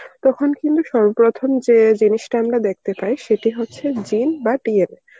তখন কিন্তু সর্বপ্রথম যে জিনিসটা আমরা দেখতে পাই সেটাই হচ্ছে gene বা DNA .